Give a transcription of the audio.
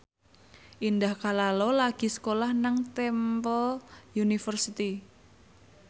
Indah Kalalo lagi sekolah nang Temple University